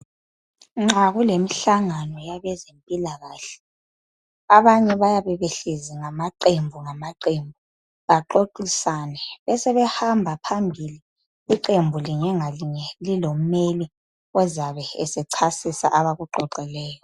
Nxa kulemihlangano yabe zempilakahle, abanye bayabe behlezi ngamaqembu ngamaqembu baxoxisane besebehamba phambili iqembu linye ngalinye lilomeli ozabe esechasisa abakuxoxileyo.